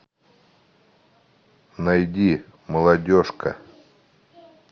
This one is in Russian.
найди молодежка